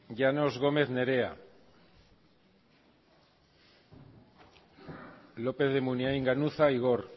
llanos gómez nerea lópez de munain ganuza igor